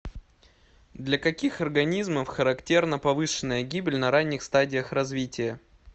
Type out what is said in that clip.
для каких организмов характерна повышенная гибель на ранних стадиях развития